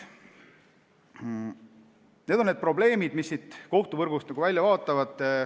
Need on need probleemid, mis kohtuvõrgust välja paistavad.